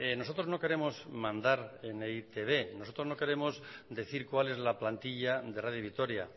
nosotros no queremos mandar en e i te be nosotros no queremos decir cuál es la plantilla de radio vitoria